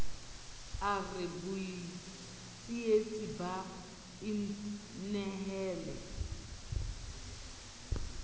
a re botsietsi ba inehele